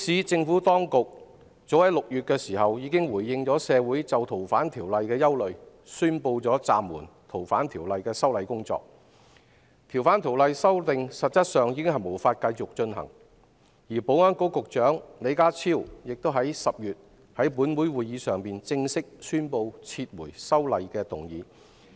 政府當局早在6月份，已回應社會的憂慮，宣布暫緩修例工作，修訂實際上已無法繼續進行；及至10月，保安局局長李家超更在立法會會議上，正式宣布撤回有關條例草案。